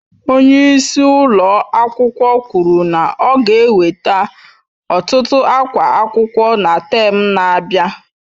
Onye isi ụlọ akwụkwọ kwuru na ọ ga-eweta ọtụtụ akwa akwụkwọ na tem na-abịa